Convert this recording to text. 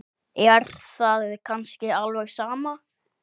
Er það kannski alveg sama?